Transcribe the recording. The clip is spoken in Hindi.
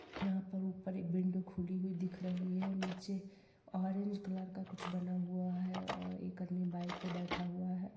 यहाँ पर ऊपर एक विंडो खुली हुई दिख रही है नीचे ऑरेंज कलर का कुछ बना हुआ है और एक आदमी अपनी बाईक पर बैठा हुआ है।